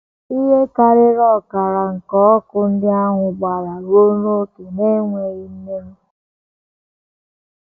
Ihe karịrị ọkara nke ọkụ ndị ahụ gbara ruo n’ókè na - ekweghị mmenyụ.